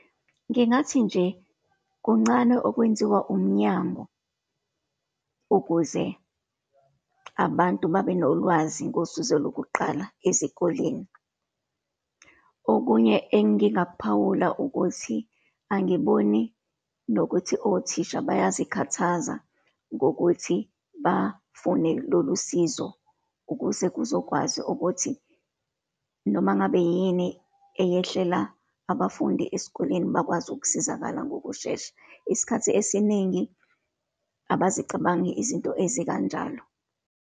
Ngingathi nje, kuncane okwenziwa umnyango ukuze abantu bebenolwazi ngosizo lokuqala ezikoleni. Okunye engingakuphawula, ukuthi angiboni nokuthi othisha bayazikhathaza ngokuthi bafune lolusizo, ukuze kuzokwazi ukuthi noma ngabe yini eyehlela abafundi esikoleni, bakwazi ukusizakala ngokushesha. Isikhathi esiningi abezicabangi izinto ezikanjalo.